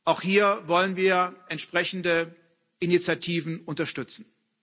Auch hier wollen wir entsprechende Initiativen unterstützen.